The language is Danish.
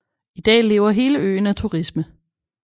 I dag lever hele øen af turismen